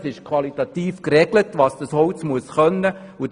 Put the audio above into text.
Es ist qualitativ geregelt, welche Anforderungen das Holz erfüllen muss.